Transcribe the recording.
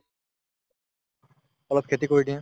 অলপ খেতি কৰি দিয়া